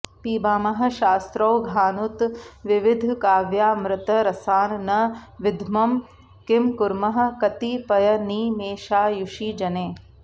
पिबामः शास्त्रौघानुत विविधकाव्यामृतरसान् न विद्मः किं कुर्मः कतिपयनिमेषायुषि जने